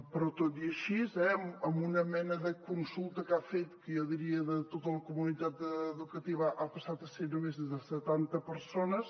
però tot i així eh amb una mena de consulta que ha fet jo diria de tota la comunitat educativa ha passat a ser només de setanta persones